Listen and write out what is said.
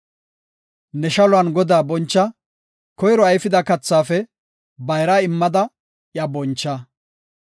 Ne shaluwan Godaa boncha; koyro ayfida kathaafe bayraa immada iya boncha.